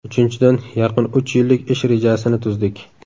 Uchinchidan, yaqin uch yillik ish rejasini tuzdik.